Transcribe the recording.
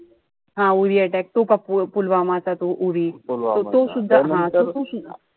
हा URI attack तो पुलवामा चा तो URI त तो सुद्धा हा तो,